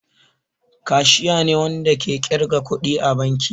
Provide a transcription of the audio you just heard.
Kashiya ne Wanda ke kirga kuɗi a banki.